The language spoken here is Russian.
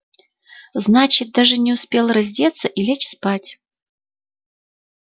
значит даже не успел раздеться и лечь спать